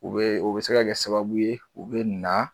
U be o bi se ka kɛ sababu ye u be na